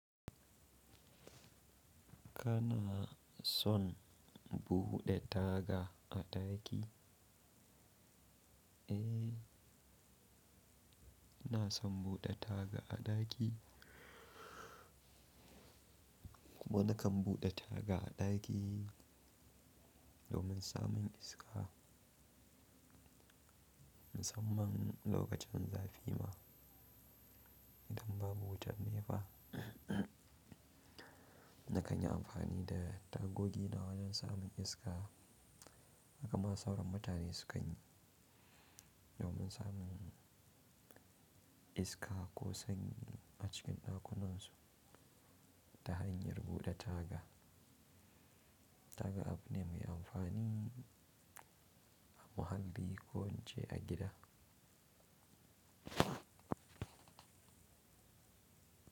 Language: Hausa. Kana son buɗe taga a ɗaki? Eh, ina son buɗe taga a ɗaki. Kuma na kan buɗe taga a ɗaki domin samun iska. Musamman lokacin zafi ma idan babu wutan nefa, na kan yi amfani da tagogi na wajen samun iska. Hakama sauran mutane sukan yi domin samun iska ko sanyi a cikin ɗakunansu ta hanyar buɗe taga. Taga abune mai amfani a muhalli ko in ce a gida.